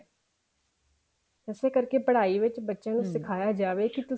ਇਸੇ ਕਰਕੇ ਪੜਾਈ ਵਿੱਚ ਬੱਚਿਆਂ ਨੂੰ ਸਿਖਾਇਆ ਜਾਵੇ